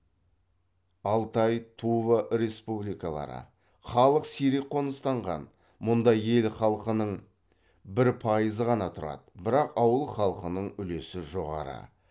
алтай тува республикалары халық сирек қоныстанған мұнда ел халқының бір пайызы ғана тұрады бірақ ауыл халқының үлесі жоғары